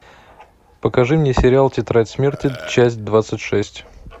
покажи мне сериал тетрадь смерти часть двадцать шесть